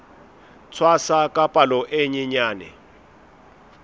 tshwasa ka palo e nyenyane